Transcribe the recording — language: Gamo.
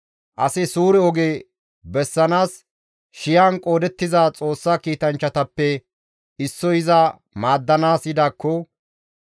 «Asi suure oge bessanaas shiyan qoodettiza Xoossa kiitanchchatappe, issoy iza maaddanaas yidaakko,